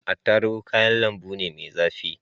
Attarugu kayan lambu ne mai zafi.